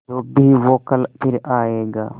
जो भी हो कल फिर आएगा